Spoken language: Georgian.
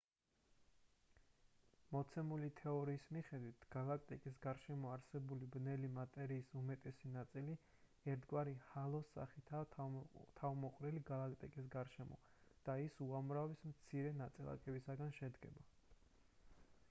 მოცემული თეორიის მიხედვით გალაქტიკის გარშემო არსებული ბნელი მატერიის უმეტესი ნაწილი ერთგვარი ჰალოს სახითაა თავმოყრილი გალაქტიკის გარშემო და ის უამრავი მცირე ნაწილაკისგან შედგება